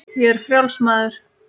Ég er frjáls maður!